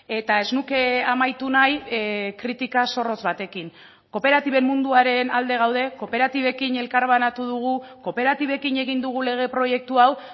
eta ez nuke amaitu nahi kritika zorrotz batekin kooperatiben munduaren alde gaude kooperatibekin elkarbanatu dugu kooperatibekin egin dugu lege proiektu hau